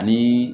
Ani